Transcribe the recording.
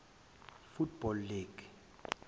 football league